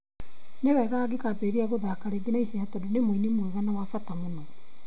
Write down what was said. Nĩ wega angĩkambĩrĩria gũthaaka rĩngĩ na ihenya tondũ nĩ mũini mwega na wa bata mũno.'